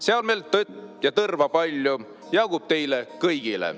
Seal meil tõtt ja tõrva palju, jagub teile kõigile."